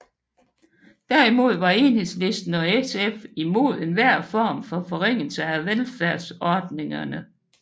Derimod var Enhedslisten og SF imod enhver form for forringelse af velfærdsordningerne